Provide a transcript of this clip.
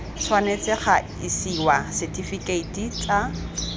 tshwanetse ga isiwa setifikeiti tsa